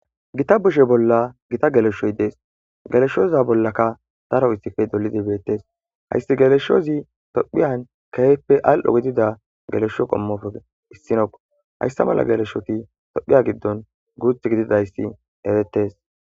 Gitta shuchcha bollan gitta galeshoy de'es. Galeshoza bollanka daro itiketi dulidi de'ettes. Aysi galeshozi toppiyan keehippe al'oo giddada galesho qommotuppe issino. Ha issa mala galeshoti toppiya giddon guutti giddidi erettes.